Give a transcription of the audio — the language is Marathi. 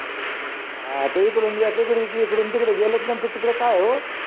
हा त इकडून या तिकडू इकडून तकडे गेलेत न तु तिकडे काय हो.